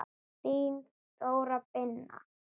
Þín Þóra Birna.